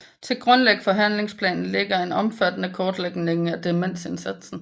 Til grund for handlingsplanen ligger en omfattende kortlægning af demensindsatsen